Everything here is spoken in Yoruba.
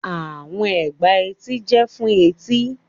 Àwọn ègbà etí jẹ́ fún etí.